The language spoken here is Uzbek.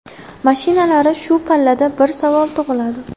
Mashinalari Shu pallada bir savol tug‘iladi.